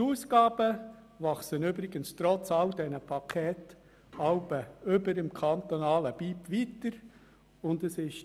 Die Ausgaben wachsen übrigens trotz all dieser Pakete über das kantonale Bruttoinlandprodukt (BIP) hinaus.